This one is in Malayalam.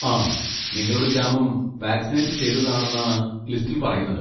ആ, നിങ്ങളുടെ ഗ്രാമം വാക്സിനേറ്റ് ചെയ്തതാണെന്നാണ് ലിസ്റ്റിൽ പറയുന്നത്.